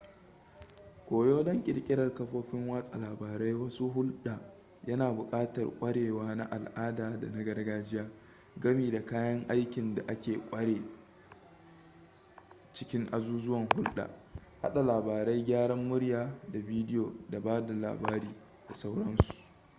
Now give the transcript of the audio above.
koyo don ƙirƙirar kafofin watsa labarai masu hulɗa yana buƙatar kwarewa na al'ada da na gargajiya gami da kayan aikin da aka ƙware a cikin azuzuwan hulɗa hada labarai gyaran murya da bidiyo ba da labari da sauransu